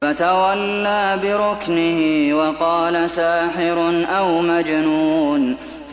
فَتَوَلَّىٰ بِرُكْنِهِ وَقَالَ سَاحِرٌ أَوْ مَجْنُونٌ